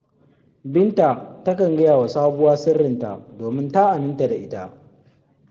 Binta takan gaya wa sabuwa sirrinta, domin ta aminta da ita